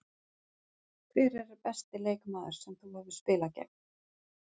Hver er besti leikmaður sem þú hefur spilað gegn?